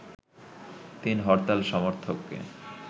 ৩ হরতাল সমর্থককে